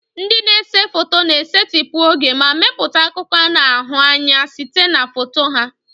Ndị na-ese foto na-esetịpụ oge ma mepụta akụkọ a na-ahụ anya site na foto ha.